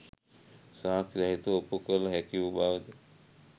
සාක්‍ෂි සහිතව ඔප්පු කළ හැකි වූ බව ද